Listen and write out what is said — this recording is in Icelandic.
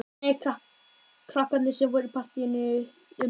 Nei, krakkarnir sem voru í partíinu um síðustu helgi koma.